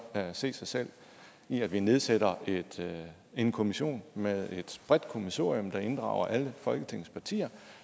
se sig selv i at vi nedsætter en kommission med et bredt kommissorium der inddrager alle folketingets partier